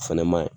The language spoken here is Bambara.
O fɛnɛ maɲi